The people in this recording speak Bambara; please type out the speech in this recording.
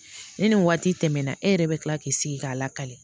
Ni nin waati tɛmɛna e yɛrɛ bɛ kila k'i sigi k'a lakali